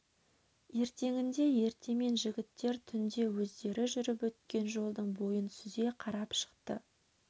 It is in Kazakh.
ертеңінде ертемен жігіттер түнде өздері жүріп өткен жолдың бойын сүзе қарап шықты